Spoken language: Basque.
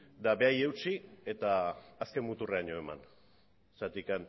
eta berari eutsi eta azken muturreraino eraman zergatik